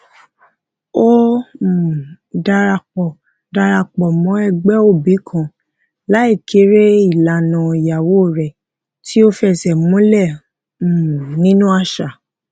ó um darapo darapo mo ẹgbẹ obi kan lai kere ilana ìyàwó rẹ ti o fese múlẹ um nínú àṣà